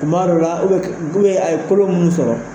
Tuma dɔ la a ye kolo munnu sɔrɔ.